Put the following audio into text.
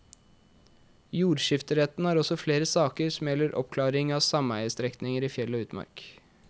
Jordskifteretten har også flere saker som gjelder oppklaring av sameiestrekninger i fjell og utmark.